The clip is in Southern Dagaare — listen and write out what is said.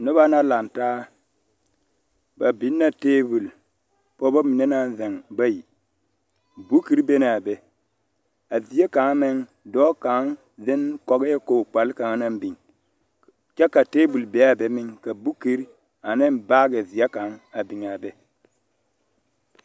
Noba la lantaa ba biŋ la tabol pɔgeba mine naŋ ziŋ bayi bukire be na be a die kaŋ meŋ dɔɔ kaŋ ziŋ kɔgeɛ kog kpal kaŋ naŋ biŋ kyɛ ka tabol be a be meŋ ka bukire ane baagi zeɛ kaŋ meŋ a be a be .